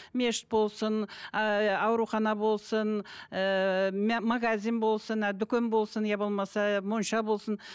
мешіт болсын ыыы аурухана болсын ыыы магазин болсын дүкен болсын иә болмаса монша болсын